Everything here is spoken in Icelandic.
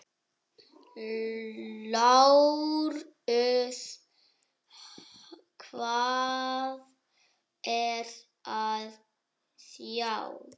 LÁRUS: Hvað er að sjá?